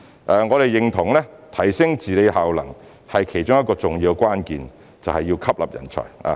我們認同提升治理效能的其中一個重要關鍵是吸納人才。